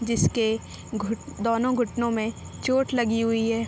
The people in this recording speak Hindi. जिसके घुट दोनों घुटनों में चोट लगी हुई है।